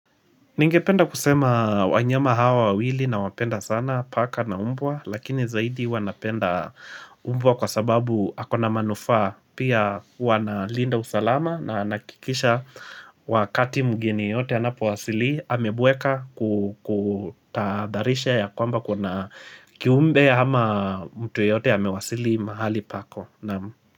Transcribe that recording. Ningependa kusema wanyama hawa wawili nawapenda sana paka na mbwa, lakini zaidi huwa napenda umbwa kwa sababu ako na manufaa pia huwa analinda usalama na nahakikisha wakati mgeni yeyote anapo wasili, amebweka kutadharisha ya kwamba kuna kiumbe ama mtu yeyote amewasili mahali pako.